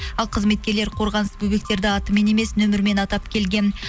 ал қызметкерлер қорғаныссыз бөбектерді атымен емес нөмірімен атап келген